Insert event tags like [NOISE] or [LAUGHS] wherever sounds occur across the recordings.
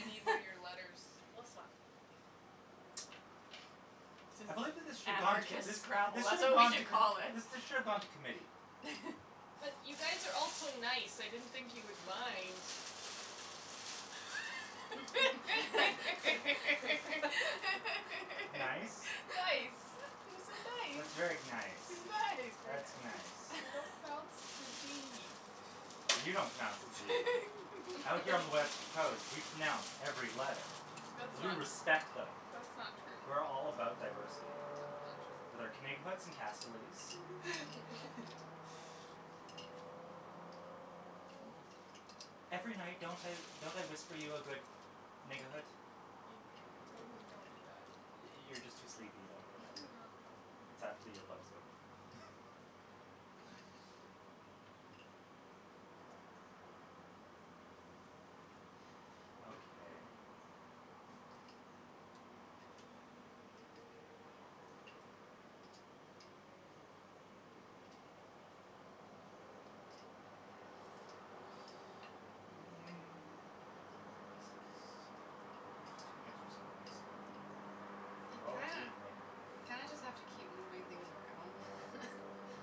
need one of your letters. We'll swap. [NOISE] I believe that this should gone Anarchist this Scrabble, this should that's have what we gone t- should call it. this should have gone to committee. [LAUGHS] But you guys are all so nice, I didn't think you would mind. [LAUGHS] [LAUGHS] Nice. Nice, you're Nice. [LAUGHS] That's so very nice. nice. Nice. That's nice. You don't pronounce the d. You don't pronounce the zee. Out here on the west coast, we [LAUGHS] pronounce every letter [LAUGHS] That's cuz we not respect them. that's not We're all true. about That's diversity. not With true. our [INAUDIBLE] [LAUGHS] [LAUGHS] [NOISE] Every night, don't I don't I whisper you a good? [INAUDIBLE] You totally don't do that. You you're just too sleepy, you Ah, don't realize it. [LAUGHS] It's after probably. earplugs go. [LAUGHS] [NOISE] Okay. [NOISE] This is an interesting exercise in You kinda frivolity and mayhem. you kinda just have to keep moving things around Yeah and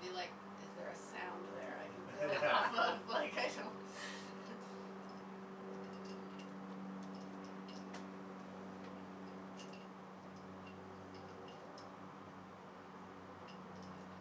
be like, is there a sound there I can [LAUGHS] build Yeah. off of? Like, I don't [LAUGHS] [LAUGHS] [LAUGHS] Um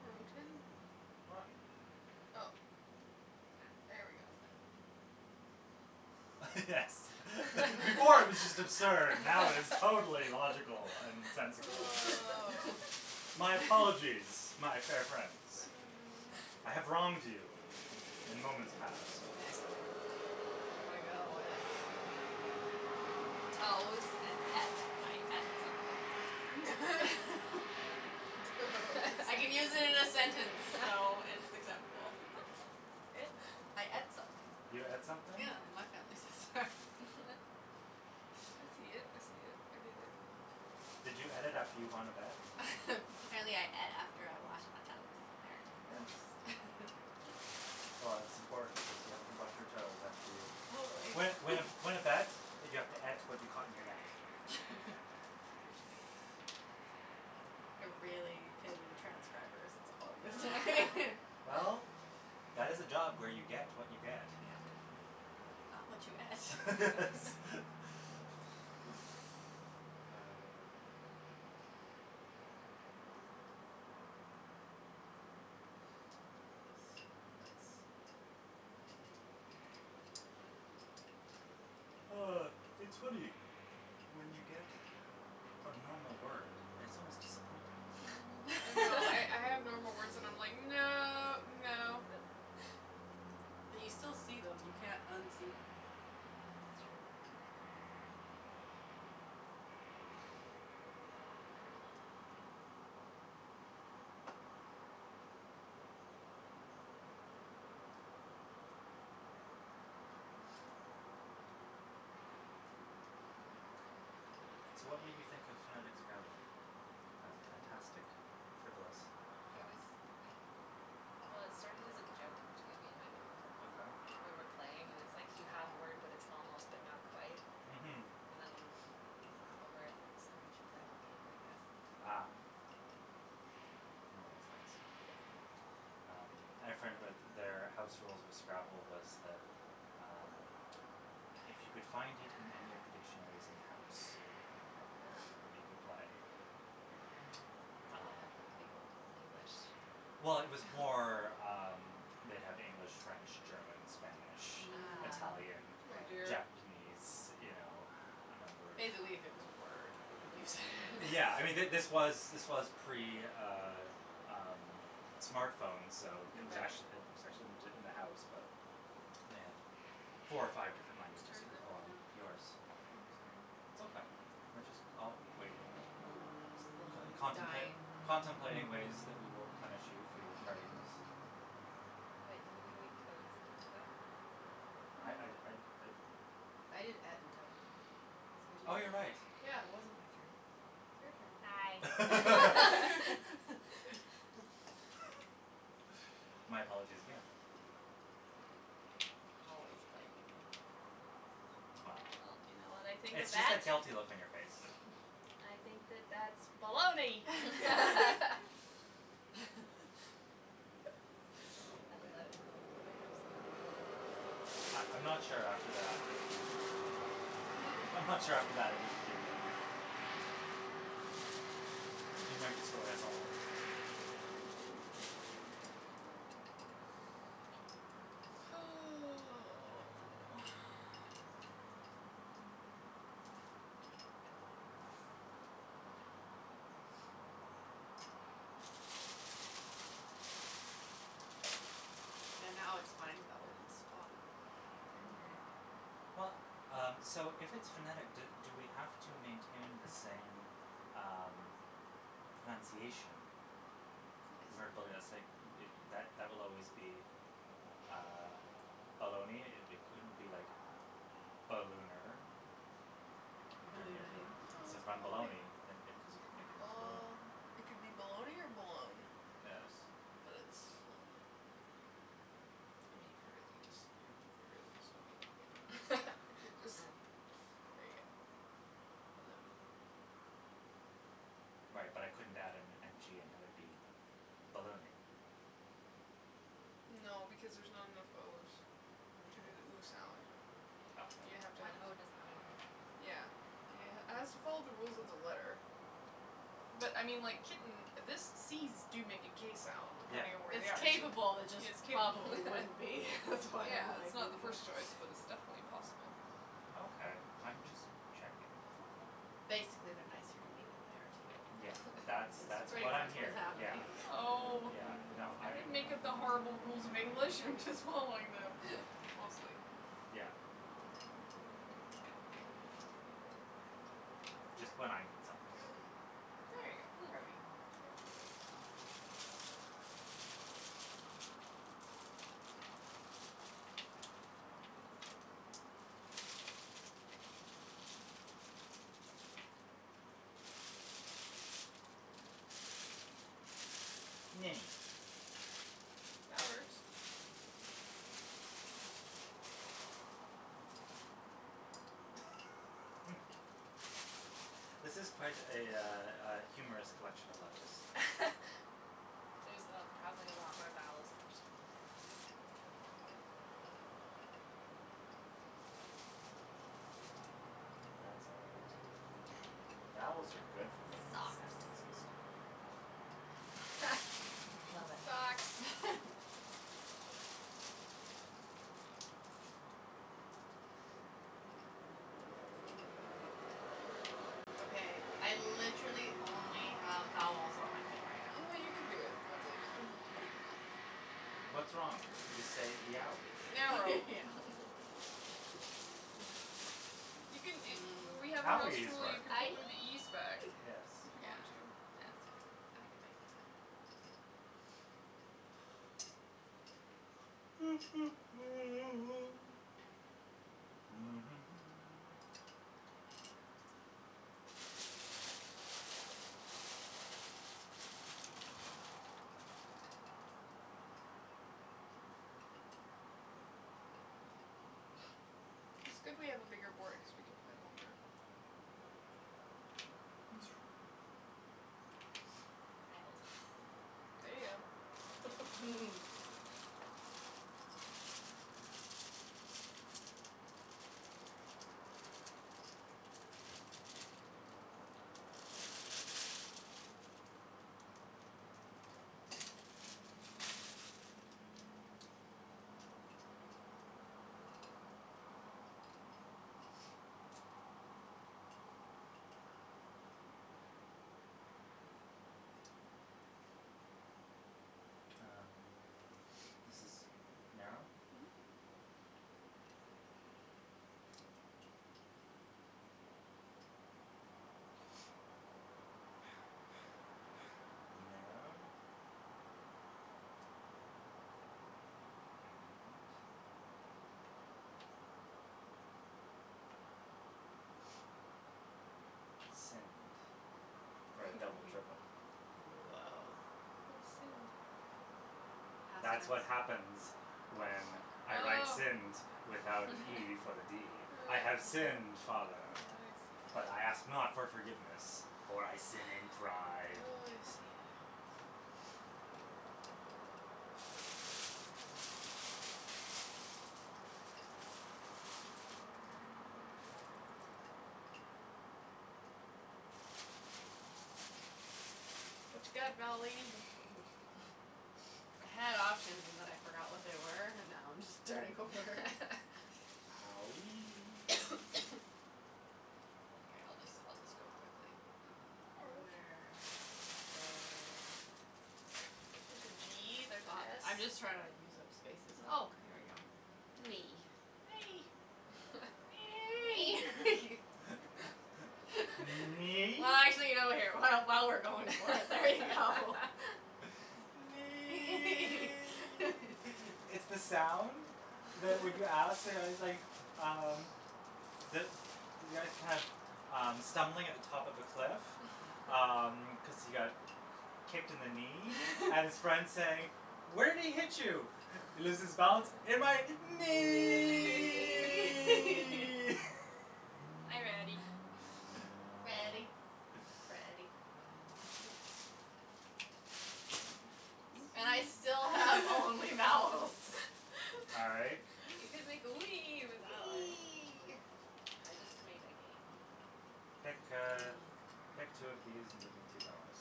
Broten? Rotten. Oh, Ah. there we go. That's better. [LAUGHS] Yes. Before it was just absurd. Now it is totally logical and [LAUGHS] sensical. [LAUGHS] Oh. My apologize, [LAUGHS] my fair friends. Mm. I have wronged you in moments past. Okay, I'm gonna go with toes and et. I et something. Very nice. [LAUGHS] I can use Toes. it in a sentence, so it's [LAUGHS] acceptable. I et something. You et Yeah. something? Yeah, my family says that. [LAUGHS] [LAUGHS] I see it, I see it, I give it. Did you et it after you won a bet? [LAUGHS] Apparently I et after I washed [LAUGHS] my toes, Yes. apparently. [LAUGHS] Well, it's important because you have to wash your toes after you Totally. Win win a win a bet, but you have to et to what you caught in your net. [LAUGHS] [LAUGHS] I really pity the transcribers, that's all I'm gonna say. Oh. Well, [LAUGHS] [LAUGHS] that is a job where you get what you get. Yeah. [LAUGHS] Not what you et. [LAUGHS] [LAUGHS] [LAUGHS] Ah. Yes, it's Oh, it's funny. When you get a normal word, it's almost disappointing. I know. I I have normal words and [LAUGHS] I'm like, [LAUGHS] no, no. But you still see them. You can't unsee them. It's true. So, what made you think of phonetic Scrabble as a fantastic frivolous It fun? was I, well, it started as a joke between me and my mom. Okay. When we're playing and it's like you have a word but it's almost but not quite Mhm. and then you, like, laugh over and I was like, we should play a whole game like this. Ah. One of those things. Yeah. Yep. Um, I had a friend who had their house rules of Scrabble was that, um, if you could find it in any of the dictionaries in the house, [NOISE] you Oh. could play. [NOISE] Did they have, Um like, the Old Old English? Well, it was more, [LAUGHS] um, they'd have English, French, German, Spanish, Ah. Italian, Mm. Oh, Right. dear. Japanese, you know, a number If of they believe it was a word, you could use it. Yeah, I mean, th- this was [LAUGHS] this was pre, uh um, smartphones, so it was Right. ac- it was Mhm. actually in the house, but they had four or five Whose different languages turn you is it could pull right on. now? Yours. Oh, sorry. It's okay, we're just all waiting, Mm. Slowly contempla- dying. contemplating ways that we will punish you for your tardiness. [LAUGHS] Wait, didn't you make toes? Did you go? I I'd I'd Mm. I'd I did et and toe. So it's Oh, your you're right. turn. Yeah, it wasn't my turn. It's Hi. your [LAUGHS] turn. [LAUGHS] [LAUGHS] [LAUGHS] [LAUGHS] My apologies again. Always blaming me, always. Well, Well, you know what I think of it's just that? that guilty look on your face. I think that [LAUGHS] that's baloney. [LAUGHS] [LAUGHS] [LAUGHS] [LAUGHS] Oh, I love it. man. Can I have some, please? I I'm not sure after that if we should give you any. Hmm? I'm not sure after that if we should give you any. You might destroy us all. Oh. Yeah, now Yes. it's funny though, cuz [INAUDIBLE] Mhm. Well, um, so if it's phonetic, do do we have to maintain the same, um, pronunciation. Where b- Yes. it's like that that that will always be, uh, baloney. It it couldn't be like ballooner. Turn it into Balloonay. No, So it's then baloney. baloney and it cuz you can make it into balloon. Bal- it could be baloney or balone, Yes. but it's baloney. Yeah. I mean, if you're really just, you know, if you really just want to make it [LAUGHS] that, you [LAUGHS] could just Yeah. Mm. There you go. Baloney. Right, but I couldn't add an n g and have it be ballooning. No because there's not enough o's Yeah. to do the ooh sound. You have to Okay. have One o does not an ooh make. Yeah. [INAUDIBLE] has to follow the rules of the letter. But, I mean, like, kitten, this c's do make a k sound Yeah. depending on where It's they are. capable, it Yes, just capable. probably wouldn't be. [LAUGHS] [LAUGHS] That's why Yeah, I'm it's like not the first choice, but [NOISE] it's definitely possible. Okay. I'm just checking. Okay. Basically, they're nicer to me than they are to Yeah, you. that's That's that's pretty what [LAUGHS] I'm much what's hearing. Yeah, happening. Oh. yeah, no, I I didn't make up the horrible rules of English, I'm just following them. Mostly. Yeah. Just when I need something. Grody. There you go, grody. Yeah, there you go. Mini. That works. [LAUGHS] This is quite a, uh, uh, humorous collection of letters. [LAUGHS] There's probably a lot more vowels than there should be there. That's all right. Vowels are good for making sounds and stuff. [LAUGHS] [LAUGHS] Love it. Socks. [LAUGHS] Okay, I literally only have vowels on my thing I right now. know you can do it. I believe in you. What's wrong? Just say yowee. Narrow. [LAUGHS] [LAUGHS] You can a W- we had [NOISE] a house Owee is rule, you work. can put one of Aeeee. the e's back. Yes. If you Yeah, want to. yeah, that's fine, I can make it. [NOISE] [NOISE] Yes. [LAUGHS] It's good we have a bigger board cuz we can play longer. It's true. Dialed. There you go. [NOISE] [LAUGHS] Um, this is narrow? Mhm. Narrowed? And Sinned for a double triple. Whoa. Nice. What's sinned? Past That's what happens tense. when I write Oh. sinned without an e before the d. [LAUGHS] I have Oh. sinned, I father, see. but I ask not for forgiveness, for I sin in Oh, pride. I see. What you got, vowel lady? [LAUGHS] I had options and then I forgot what they were and now I'm just starting over. [LAUGHS] Owee. [NOISE] [NOISE] Okay, I'll just I'll just go quickly. No [NOISE] Uh, worries. where is there There's a g, there's an I'm s. just trying to use up spaces. Oh, Mm. here we go. Knee. Nay. [LAUGHS] [LAUGHS] Knee. [NOISE] [LAUGHS] [LAUGHS] [LAUGHS] Knee? Well, actually, [INAUDIBLE] while we're going for it, there you go. [LAUGHS] [LAUGHS] [LAUGHS] Nee! It's the sound that when you ask, like, [LAUGHS] um, the the guy's kind of, um, stumbling at the top of a cliff, um, [LAUGHS] cuz he got kicked in the knee and his friend's saying, "Where'd he hit you?" He loses balance. "In my Knee. knee!" [LAUGHS] Are you ready? [LAUGHS] [LAUGHS] Ready, Nice. Freddy. And I still have [NOISE] only vowels. [LAUGHS] All right. [LAUGHS] You can make the wee with that one. Wee. I just made again. Pick, Mhm. uh, pick two of these and give me two vowels.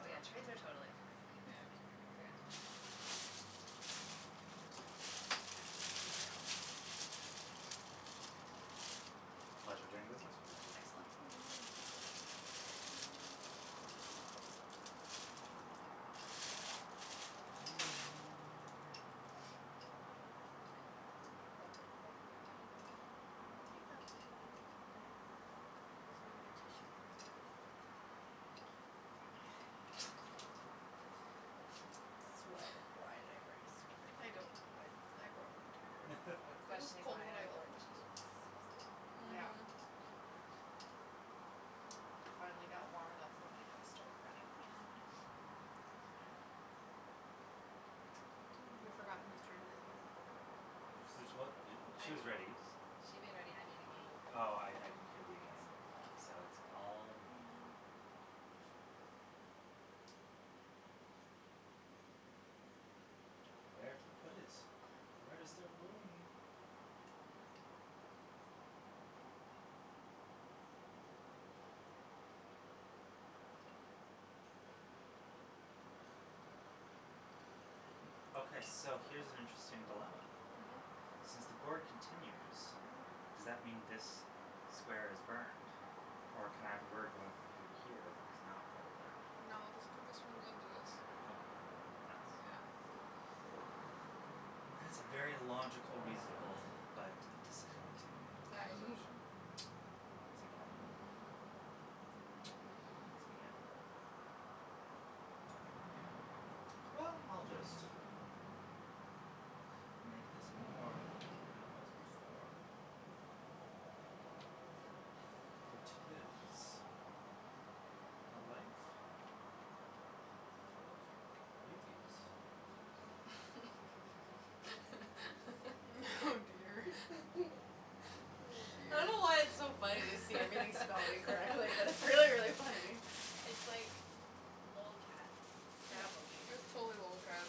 Oh, yeah, trades are totally allowed. Yeah. I forgot to mention that. Pleasure doing business with you. Excellent. Mhm. [NOISE] Keep that in mind. [INAUDIBLE] Thank you. Sweater. Why [LAUGHS] did I bring a sweater? I don't know. I brought one, too. I'm It was questioning cold why when I [LAUGHS] I left wore my house. jeans, so Yeah. Mhm. I finally got warm enough that my nose started running. Mm. [NOISE] Have we forgotten whose turn it is again? This is what [INAUDIBLE] I she is ready. She made ready, I made again. Oh, I I didn't hear the It's again, there I so go. it's all me. Where to put it. Where's there room? [NOISE] Okay, so here's an interesting dilemma. Mhm. Mhm. Since the board continues, Mhm. does that mean this square is burned, or can I have a word going from here to here that is not part of that? No, this could this runs into this. Okay, th- that's Yeah. That's a very logical, reasonable but disappointing conclusion [INAUDIBLE] [LAUGHS] [NOISE] once again. [NOISE] Once again. [NOISE] Well, I'll just make this more than it was before. For it is a life full of beauties. [LAUGHS] [LAUGHS] Oh dear. Oh, [LAUGHS] I dear. don't know why it's so funny to see everything spelled incorrectly, but it's really, really funny. [LAUGHS] [LAUGHS] It's like lolcats Scrabble game. It was totally lolcats.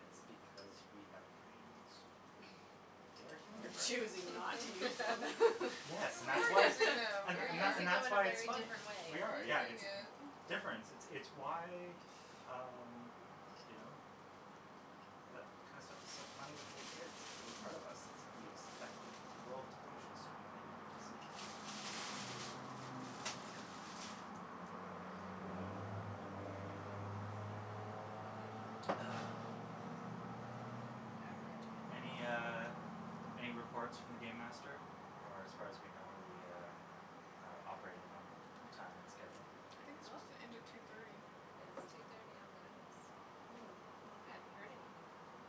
It's because we have brains. And they are [LAUGHS] human We're brains. choosing not to use them. Yes, and We that's are why it's using [LAUGHS] [LAUGHS] them, and we th- We're and th- are. and using them that's in a why it's very funny. different We way. We're are, yeah, using it's it. difference. It's why, um, you know, that kind of stuff is so funny with little kids, a part of us, it's like we expect the world to function a certain way when it doesn't. Weird. Ah. I have a really Any, good one. uh, any reports from the game master, or as far as we know are we, uh, operating on time and schedule? I think it's Well, supposed to end at two thirty. it's two thirty on the nose. Okay. I haven't Hmm. heard anything from him.